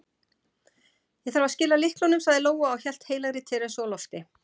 Ég þarf að skila lyklunum, sagði Lóa og hélt heilagri Teresu á lofti.